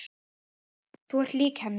Þú ert lík henni.